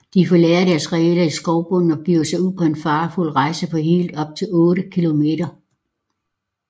De forlader deres reder i skovbunden og begiver sig ud på en farefuld rejse på helt op til otte kilometer